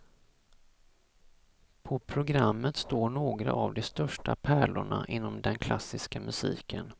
På programmet står några av de största pärlorna inom den klassiska musiken.